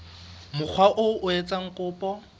mokga oo a etsang kopo